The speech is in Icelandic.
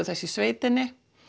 þess í sveitinni